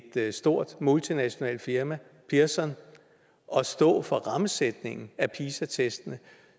stort multinationalt firma pearson at stå for rammesætningen af pisa testene